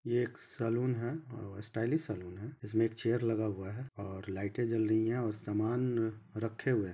ये एक सलून है अ स्टाइलिश सलून है इसमें एक चेयर लगा हुआ है और लाइटें जल रही है और सामान रखे हुए है।